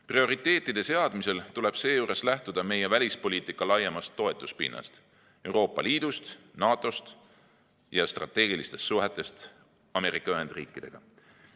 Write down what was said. Prioriteetide seadmisel tuleb seejuures lähtuda meie välispoliitika laiemast toetuspinnast: Euroopa Liidust, NATO‑st ja strateegilistest suhetest Ameerika Ühendriikidega.